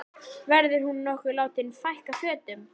Verður hún nokkuð látin fækka fötum?